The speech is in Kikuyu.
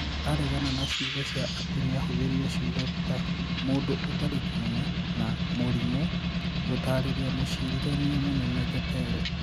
Aregana na ciugo cia atĩ nĩ aahũthĩrire ciugo ta 'mũndũ ũtarĩ kĩene' na 'mũrimũ' gũtaarĩria Mũcirithania Mũnene Jatelo.